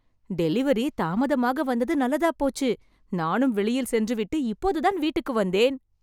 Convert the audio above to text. delivery தாமதமாக வந்தது நல்லதாப் போச்சு நானும் வெளியில் சென்றுவிட்டு இப்போதுதான் வீட்டுக்கு வந்தேன்